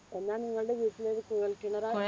എന്നാൽ നിങ്ങളുടെ വീട്ടിലൊരു കുഴൽ കിണറാ